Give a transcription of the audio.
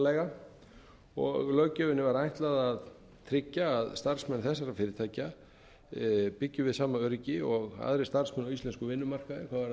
starfsmannaleiga og löggjöfinni var ætlað að tryggja að starfsmenn þessara fyrirtækja byggju við sama öryggi og aðrir starfsmenn á íslenskum vinnumarkaði þó það væru